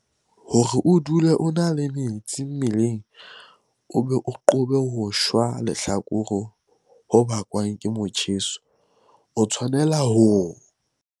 Hore o dule o na le metsi mmeleng o be o qobe ho shwa lehlakore ho bakwang ke motjheso, o tshwanela ho.